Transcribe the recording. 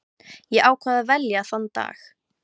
Ég ákvað að velja þann dag.